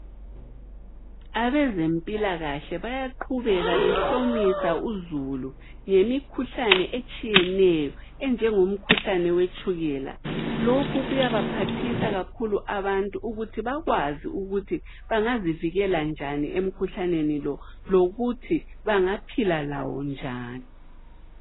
Abezempilakahle bayaqhubeka behlomisa uzulu ngemikhuhlane etshiyeneyo enjengomkhuhlane wetshukela. Lokhu kuyabaphathisa kakhulu abantu ukuthi bakwazi ukuthi bangazivikela njani emkhuhlaneni lo lokuthi bangaphila lawo njani.